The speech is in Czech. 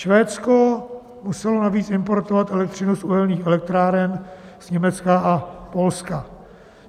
Švédsko muselo navíc importovat elektřinu z uhelných elektráren z Německa a Polska.